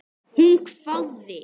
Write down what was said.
Hún hváði.